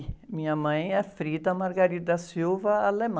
E minha mãe é, alemã.